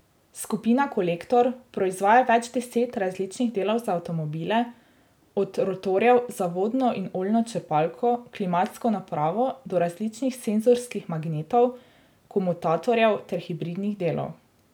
Skupina Kolektor proizvaja več deset različnih delov za avtomobile, od rotorjev za vodno in oljno črpalko, klimatsko napravo do različnih senzorskih magnetov, komutatorjev ter hibridnih delov.